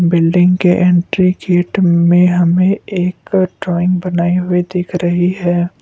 Building के entry gate में हमें एक ड्राइंग बनाई हुई दिख रही है।